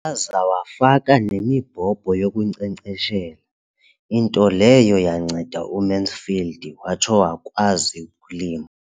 Waza wafaka nemibhobho yokunkcenkceshela, into leyo yanceda uMansfield watsho wakwazi ukulima.